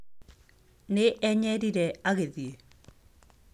Nĩ enyerire! Agĩthiĩ!